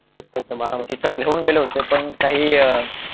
अच्छा अच्छा बारामती तिथं घेऊन गेले होते पण काही अह